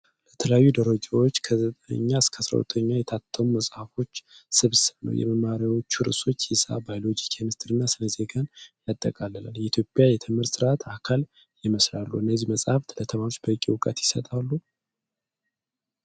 ለተለያዩ ደረጃዎች (ከ9-12) የታተሙ መጽሐፎች ስብስብ ነው። የመማሪያዎቹ ርዕሶች ሒሳብ፣ ባዮሎጂ፣ ኬሚስትሪ እና ስነ-ዜጋን ያጠቃልላል። የኢትዮጵያ የትምህርት ሥርዓት አካል ይመስላሉ። እነዚህ መጻሕፍት ለተማሪዎች በቂ እውቀት ይሰጣሉ?